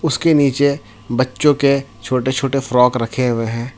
उसके नीचे बच्चों के छोटे छोटे फ्रॉक रखे हुए हैं।